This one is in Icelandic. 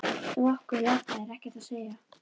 Um okkur lata er ekkert að segja.